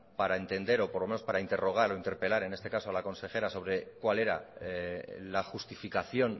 para entender o por lo menos para interrogar o interpelar en este caso a la consejera sobre cuál era la justificación